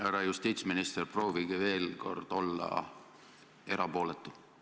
Härra justiitsminister, proovige veel kord olla erapooletu.